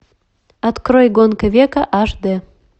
открой гонка века аш д